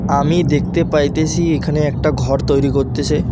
আমি দেখতে পাইতেসি এখানে একটা ঘর তৈরি করতেসে।